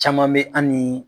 Caman be an nii